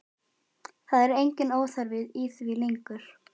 Það er enginn óþarfi í því lengur!